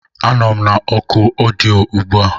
Anọ m na oku ọdịyo ugbu a.